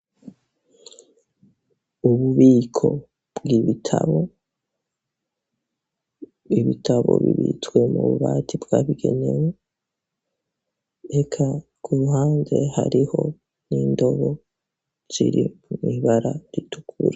Ububiko bw'ibitabo , ibitabo bibitswe mu bubati bwabigenewe ,eka ku ruhande hariho n'indobo ziri mw'ibara ritukura.